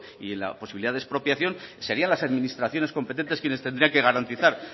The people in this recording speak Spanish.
y en la posibilidad de expropiación serían las administraciones competentes quienes tendrían que garantizar